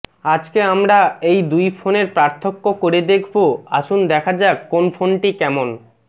আজকে আমরা এই দুই ফোনের পার্থক্য করে দেখব আসুন দেখা যাক কোন ফোনটি কেমন